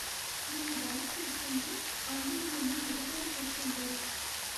నేను డ్యాన్స్ చేస్తుంటే అందరూ నన్ను ఎగతాళి చేస్తుంటారు.